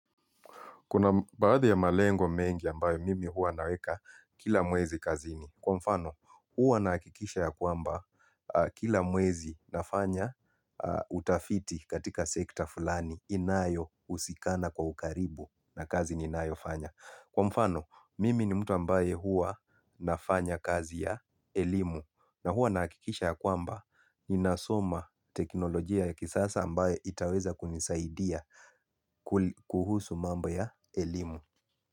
Kuna baadhi ya malengo mengi ambayo mimi huwa naweka kila mwezi kazini. Kwa mfano huwa nahakikisha ya kwamba kila mwezi nafanya utafiti katika sekta fulani inayohusikana kwa ukaribu na kazi ninayofanya. Kwa mfano, mimi ni mtu ambaye huwa nafanya kazi ya elimu. Na huwa nahakikisha ya kwamba ninasoma teknolojia ya kisasa ambayo itaweza kunisaidia kuhusu mambo ya elimu.